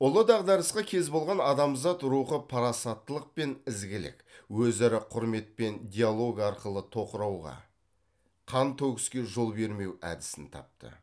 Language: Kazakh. ұлы дағдарысқа кез болған адамзат рухы парасаттылық пен ізгілік өзара құрмет пен диалог арқылы тоқырауға қантөгіске жол бермеу әдісін тапты